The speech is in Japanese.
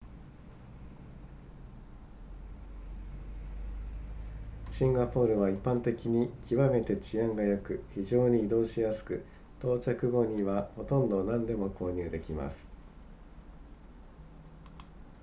シンガポールは一般的に極めて治安が良く非常に移動しやすく到着後にはほとんど何でも購入できます